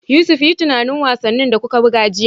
Yusuf, yi tunanin wasannin da kuka buga jiya